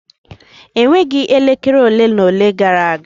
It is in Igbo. Enweghị elekere ole na ole gara aga.